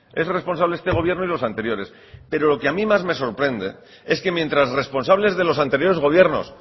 es responsable este gobierno y los anteriores pero lo que a mí más me sorprende es que mientras responsables de los anteriores gobiernos